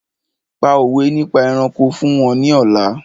Pa òwé nípa ẹranko fún wọn ní ọ̀la!